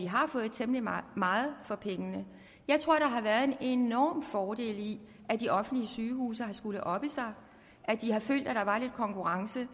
har fået temmelig meget meget for pengene jeg tror at der har været en enorm fordel i at de offentlige sygehuse har skullet oppe sig at de har følt at der var lidt konkurrence